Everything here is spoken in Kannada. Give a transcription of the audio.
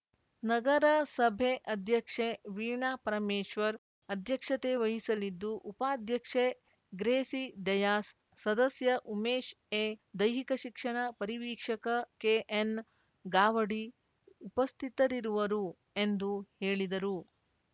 ನಗರಸಭೆ ಅಧ್ಯಕ್ಷೆ ವೀಣಾ ಪರಮೇಶ್ವರ್‌ ಅಧ್ಯಕ್ಷತೆ ವಹಿಸಲಿದ್ದು ಉಪಾಧ್ಯಕ್ಷೆ ಗ್ರೇಸಿ ಡಯಾಸ್‌ ಸದಸ್ಯ ಉಮೇಶ್‌ ಎ ದೈಹಿಕ ಶಿಕ್ಷಣ ಪರಿವೀಕ್ಷಕ ಕೆಎನ್‌ಗಾವಡಿ ಉಪಸ್ಥಿತರಿರುವರು ಎಂದು ಹೇಳಿದರು